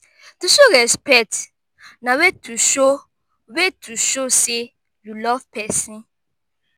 to show respect na way to show way to show say you love persin